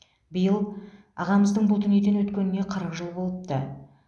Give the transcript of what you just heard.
биыл ағамыздың бұл дүниеден өткеніне қырық жыл болыпты